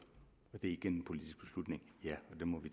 og det er igen en politisk beslutning ja